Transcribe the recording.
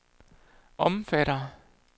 omfatter